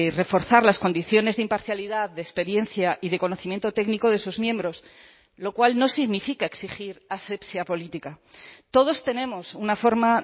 reforzar las condiciones de imparcialidad de experiencia y de conocimiento técnico de sus miembros lo cual no significa exigir asepsia política todos tenemos una forma